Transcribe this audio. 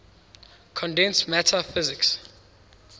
condensed matter physics